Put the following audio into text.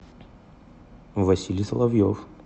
василий соловьев